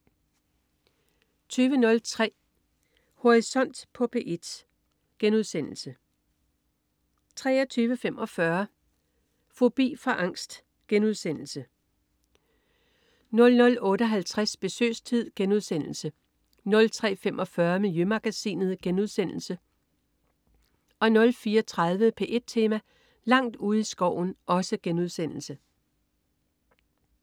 20.03 Horisont på P1* 23.45 Fobi for angst* 00.58 Besøgstid* 03.45 Miljømagasinet* 04.30 P1 Tema: Langt ude i skoven*